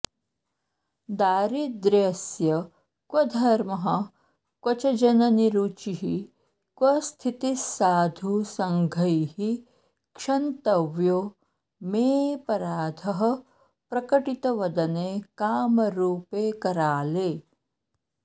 दारिद्र्यस्य क्वधर्मः क्वचजननिरुचिः क्वस्थितिस्साधु सङ्घैः क्षन्तव्यो मेऽपराधः प्रकटित वदने कामरूपे कराले